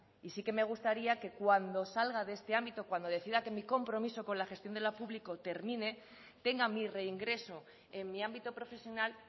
y sí que me gustaría que cuando salga de este ámbito cuando decida que mi compromiso con la gestión de lo público termine tenga mi reingreso en mi ámbito profesional